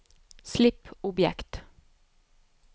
slipp objekt